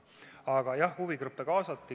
Aga jah, huvigruppe kaasati.